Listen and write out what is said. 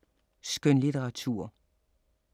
Skønlitteratur